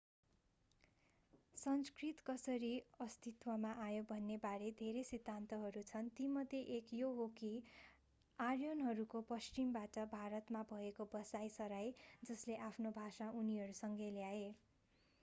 संस्कृत कसरी अस्तित्वमा आयो भन्ने बारे धेरै सिद्धान्तहरू छन् तीमध्ये एक यो हो कि आर्यनहरूको पश्चिमबाट भारतमा भएको बसाइ सराइ जसले आफ्नो भाषा उनीहरूसँगै ल्याए